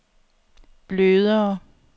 blødere